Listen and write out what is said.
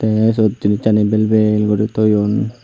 teh se gibucchani bel bel guri toyon.